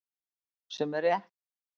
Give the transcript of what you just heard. Sem er rétt.